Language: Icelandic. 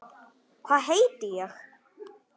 Hvað heiti ég?